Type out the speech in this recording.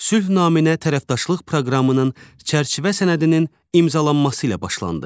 Sülh naminə tərəfdaşlıq proqramının çərçivə sənədinin imzalanması ilə başlandı.